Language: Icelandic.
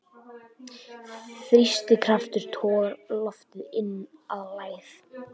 Þrýstikraftur togar loftið inn að lægð.